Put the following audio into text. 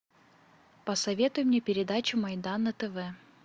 посоветуй мне передачу майдан на тв